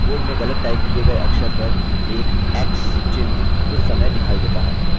अब अपनी टाइपिंग के मैट्रिस की गणना करें